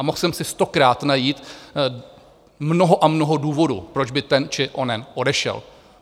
A mohl jsem si stokrát najít mnoho a mnoho důvodů, proč by ten či onen odešel.